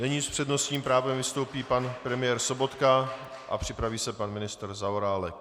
Nyní s přednostním právem vystoupí pan premiér Sobotka a připraví se pan ministr Zaorálek.